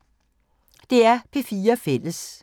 DR P4 Fælles